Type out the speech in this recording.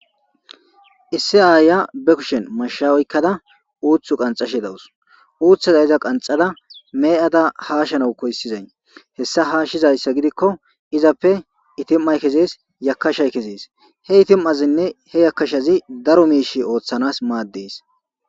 Issi aaya be kushen mashshaweykkada uuthu qanxashe dawus uuththaza iza qanxada me7ada haashanau koyssizay hessa haashshizayssa gidikko izappe itim7ay kezees yakashay kezees he itim7azinne he yakashazi daro miishi ooththanas maaddees.